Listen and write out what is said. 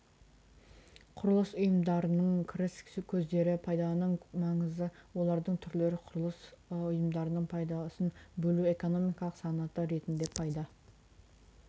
құрылыс ұйымдарының кіріс көздері пайданың маңызы олардың түрлері құрылыс ұйымдарының пайдасын бөлу экономикалық санаты ретінде пайда